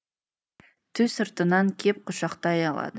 ту сыртынан кеп құшақтай алады